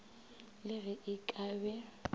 le ge e ka be